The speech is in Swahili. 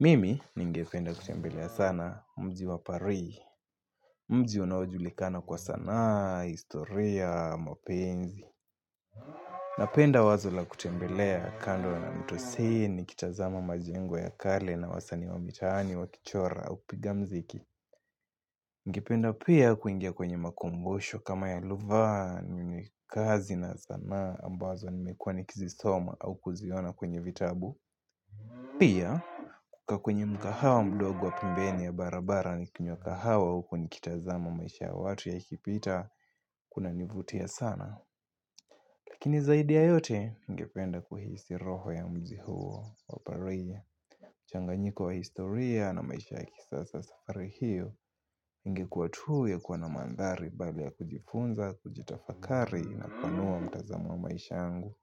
Mimi ningependa kutembelea sana, mji wa paris. Mji unaojulikana kwa sanaa, historia, mapenzi. Napenda wazo la kutembelea kando na mto see nikitazama majengo ya kale na wasani wa mitaani wakichora au piga mziki. Ningependa pia kuingia kwenye makongosho kama ya louvre ni kazi na sanaa ambazo nimekuwa nikizisoma au kuziona kwenye vitabu. Pia kukaa kwenye mkahawa mdogo wa pembeni ya barabara nikinywa kahawa huku nikitazama maisha ya watu yakipita kunanivutia sana. Lakini zaidi ya yote ningependa kuhisi roho ya mzi huo wa paris. Changanyiko wa historia na maisha ya kisasa safari hiyo ingekuwa tu ya kuona mandhari pale ya kujifunza, kujitafakari na kupanua mtazamo wa maisha yangu.